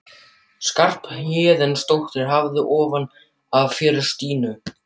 Skarphéðinsdóttir hafði ofan af fyrir Stínu.